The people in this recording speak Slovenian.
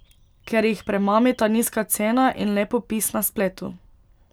Ker jih premamita nizka cena in lep opis na spletu.